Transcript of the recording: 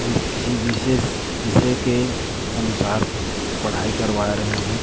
और यह किसी विशेष विषय के अनुसार पढ़ाई करवा रहे हैं।